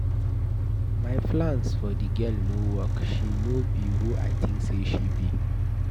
My plans for the girl no work. She no be who I think say she be.